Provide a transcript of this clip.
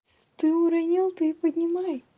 ты уронил ты и поднимай